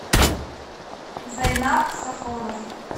зайнап сафронов